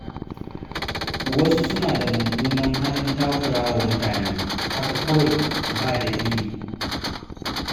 Wasu suna da mummunan halin takurawa mutane haka kawai ba dalili.